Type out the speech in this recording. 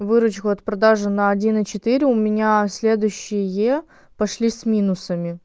выручка от продажи на один и четыре у меня следующее пошли с минусами